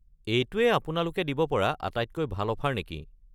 এইটোৱে আপোনালোকে দিব পৰা আটাইতকৈ ভাল অফাৰ নেকি?